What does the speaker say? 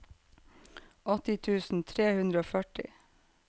åtti tusen tre hundre og førti